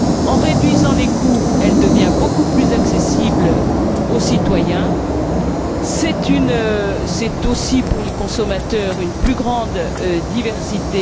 En réduisant les coûts, elle devient beaucoup plus accessible aux citoyens. C'est aussi pour les consommateurs une plus grande diversité.